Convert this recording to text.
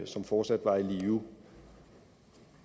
som fortsat var i live